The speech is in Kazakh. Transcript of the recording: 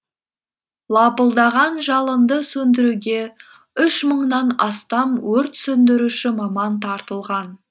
лапылдаған жалынды сөндіруге үш мыңнан астам өрт сөндіруші маман тартылған